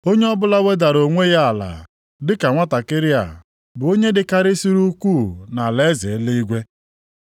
Onye ọbụla wedara onwe ya ala dị ka nwantakịrị a bụ onye dịkarịsịrị ukwuu nʼalaeze eluigwe.